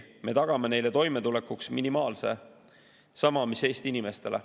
Me tagame neile toimetulekuks minimaalse, sama mis Eesti inimestele.